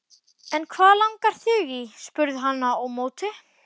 En hvað langar þig í? spurði hann á móti.